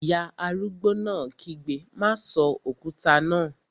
Ìyá arúgbó náà kígbe, "má sọ òkúta náà!"